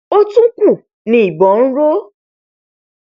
ó tún kù ni ìbọn n ró